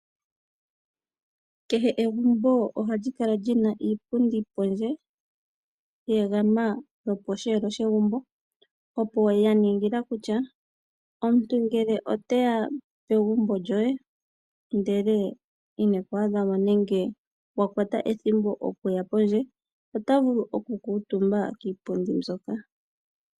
Kehe egumbo ohali kala lyina iipundi pondje ye egama loposheelo shegumbo ya ningila kutya omuntu ngele oteya pegumbo lyoye ndele ine ku adha mo nenge wa kwata ethimbo okuya pondje ota vulu oku kuutumba kiipundi mbyoka.